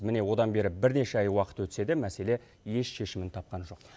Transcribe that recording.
міне одан бері бірнеше ай уақыт өтсе де мәселе еш шешімін тапқан жоқ